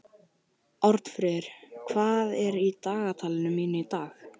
Arnfríður, hvað er á dagatalinu mínu í dag?